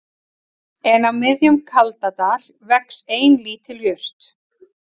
En á miðjum Kaldadal vex ein lítil jurt